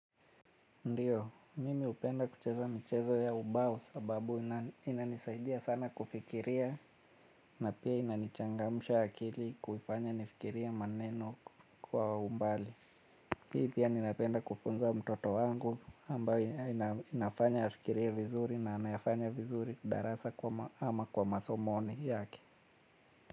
Ndiyo, mimi hupenda kucheza michezo ya ubao sababu inanisaidia sana kufikiria na pia inanichangamsha akili kuifanya nifikirie maneno kwa umbali. Hii pia ninapenda kufunza mtoto wangu ambayo inafanya afikirie vizuri na anayafanya vizuri darasa ama kwa masomoni yake.